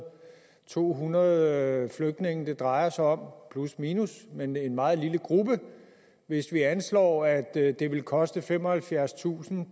to hundrede flygtninge det drejer sig om plusminus men en meget lille gruppe hvis vi anslår at at det ville koste femoghalvfjerdstusind